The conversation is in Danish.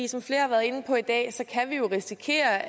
som flere har været inde på i dag så kan vi jo risikere